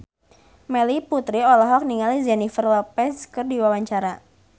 Melanie Putri olohok ningali Jennifer Lopez keur diwawancara